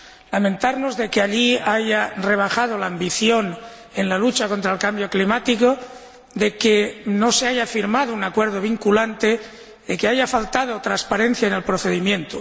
Lamentarnos de que allí se haya rebajado la ambición en la lucha contra el cambio climático, de que no se haya firmado un acuerdo vinculante y de que haya faltado transparencia en el procedimiento.